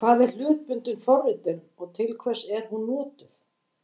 Hvað er hlutbundin forritun og til hvers er hún notuð?